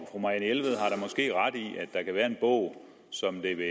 der kan være en bog som det vil